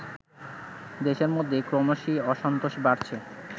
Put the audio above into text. দেশের মধ্যে ক্রমশই অসন্তোষ বাড়ছে